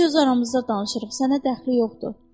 Biz öz aramızda danışırıq, sənə dəxli yoxdur.